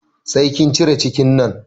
Sai kin cire cikin nan!